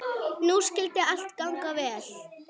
Nú skyldi allt ganga vel.